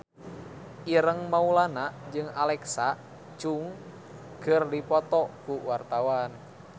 Ireng Maulana jeung Alexa Chung keur dipoto ku wartawan